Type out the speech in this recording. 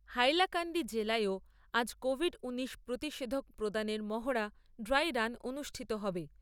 হাইলাকান্দি জেলাতেও আজ কোভিড ঊনিশ প্রতিষেধক প্রদানের মহড়া ড্রাই রান অনুষ্ঠিত হবে।